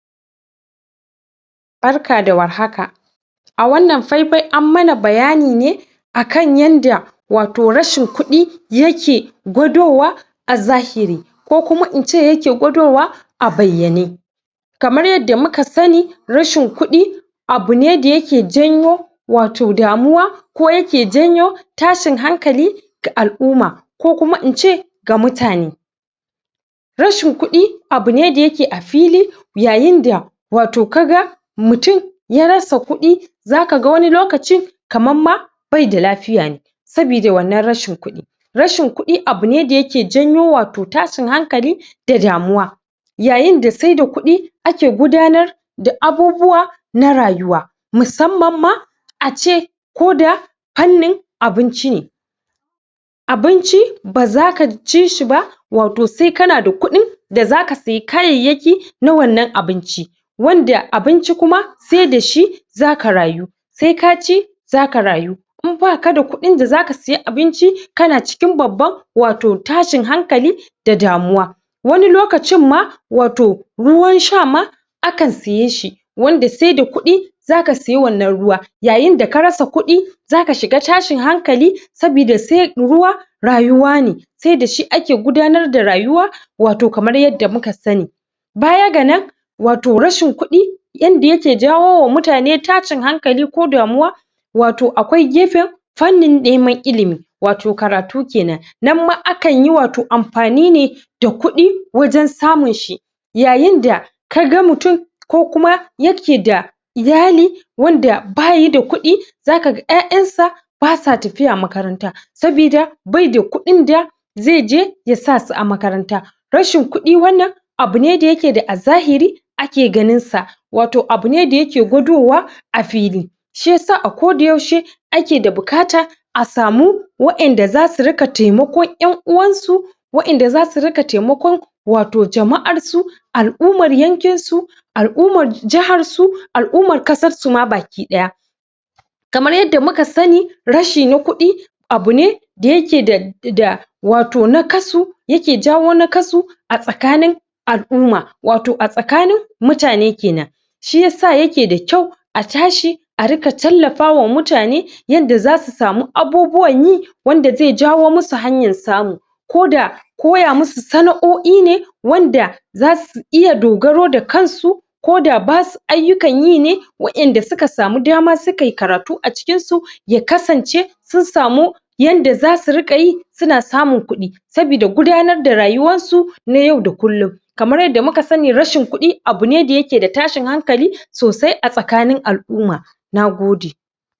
Barka da warhaka! A wannan fai-fai an mana bayani ne akan yanda wato rashin kuɗi yake gwadowa a zahiri. Ko kuma in ce yake gwadowa a bayyane. Kamar yadda muka sani, rashin kuɗi abu ne da yake janyo wato damuwa. Ko yake janyo tashin hankali ga al'umma. Ko kuma in ce ga mutane. Rashin kuɗi abu ne da yake a fili, yayin da wato ka ga mutum ya rasa kuɗi za ka ga wani lokaci kaman ma bai da lafiya ne sabida wannan rashin kuɗi. Rashin kuɗi abu ne da yake janyo wato tashin hankali da damuwa. Yayin da sai da kuɗi ake gudanar da abubuwa na rayuwa. Musamman ma ace ko da fannin abinci ne. Abinci ba za ka ci shi ba wato sai ka na da kuɗi da za ka saye kayayyaki na wannan abinci. Wanda abinci kuma sai da shi za ka rayu. Sa ka ci za ka rayu. In ba ka da kuɗin da za ka saye abinci ka na cikin babban wato tashin hankali da damuwa. Wani lokacin ma, wato ruwan sha ma akan siye shi, wanda sai da kuɗi za ka siye wannan ruwa. Yayin da ka rasa kuɗi za ka shiga tashin hankali, sabida sai, ruwa rayuwa ne. Sai da shi ake gudanar da rayuwa wato kamar yadda muka sani. Baya ga nan, wato rashin kuɗi yanda yake jawowa mutane tashin hankali ko damuwa, wato akwai gefen fannin neman ilimi. Wato karatu kenan. Nan ma akan yi wato amfani ne da kuɗi wajen samun shi. Yyain da ka ga mutum ko kuma yake da iyali wanda ba ya da kuɗi za ka ga ƴaƴansa ba sa tafiya makaranta, sabida bai da kuɗin da zai je yasa su a makaranta. Rashin kuɗi wannan abu ne da yake da a zahiri ake ganin sa. Wato abu ne da yake gwadowa a fili. Shi yasa a koda yaushe ake da buƙata,0 a samu waƴanda za su riƙa taimakon ƴan-uwansu waƴanda za su rika taimakon wato jama'arsu, al'ummara yankin su, al'ummar jahar su, al'ummar ƙasar ma baki ɗaya. Kamar yadda muka sani, rashi na kuɗi abu ne da yake da wato naƙasu, yake jawo naƙasu a tsakanin al'umma. Wato a tsakanin mutane kenan. Shi yasa yake da kyau a tashi a riƙa tallafawa mutane yanda za su samu abubuwan yi, wanda zai jawo musu hanyar samu. Ko da koya musu sana'o'i ne wanda za su iya dogaro da kansu ko da basu ayukkan yi ne. Waƴanda suka samu dama suka yi karatu a cikin su ya kasance sun samu yanda za su riƙa yi su na samun kuɗi, sabida gudanar da rayuwar su na yau da kullum. Kamar yadda muka sani rashin kuɗi abu ne da yake da tashin hankali, sosai a tsakanin al'umma. Nagode!